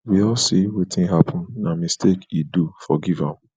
we all seewetin happen na mistake he do forgive am